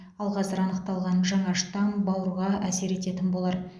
ал қазір анықталған жаңа штамм бауырға әсер ететін болар